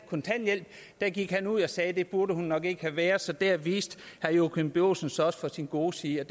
kontanthjælp gik han ud og sagde at det burde hun nok ikke have været så der viste joachim b olsen sig også fra sin gode side